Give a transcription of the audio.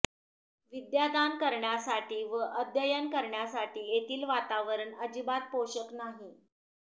विद्यादान करण्यासाठी व अध्ययन करण्यासाठी येथील वातावरण अजिबात पोषक नाही